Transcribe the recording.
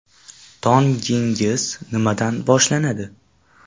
Tongingiz nimadan boshlanadi?